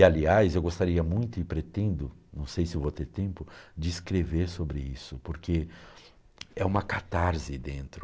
E, aliás, eu gostaria muito e pretendo, não sei se vou ter tempo, de escrever sobre isso, porque é uma catarse dentro.